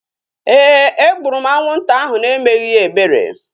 Éè, e gburu m anwụnta ahu na-emeghị ya ebere